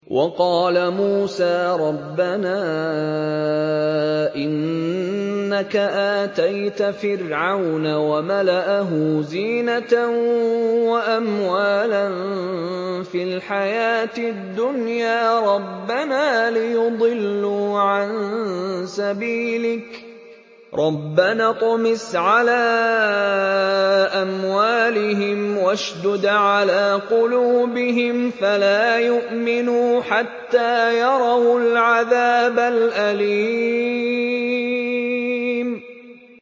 وَقَالَ مُوسَىٰ رَبَّنَا إِنَّكَ آتَيْتَ فِرْعَوْنَ وَمَلَأَهُ زِينَةً وَأَمْوَالًا فِي الْحَيَاةِ الدُّنْيَا رَبَّنَا لِيُضِلُّوا عَن سَبِيلِكَ ۖ رَبَّنَا اطْمِسْ عَلَىٰ أَمْوَالِهِمْ وَاشْدُدْ عَلَىٰ قُلُوبِهِمْ فَلَا يُؤْمِنُوا حَتَّىٰ يَرَوُا الْعَذَابَ الْأَلِيمَ